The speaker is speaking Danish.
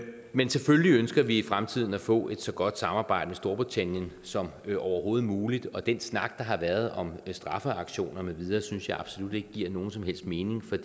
men selvfølgelig ønsker vi i fremtiden at få et så godt samarbejde med storbritannien som overhovedet muligt og den snak der har været om straffeaktioner med videre synes jeg absolut ikke giver nogen som helst mening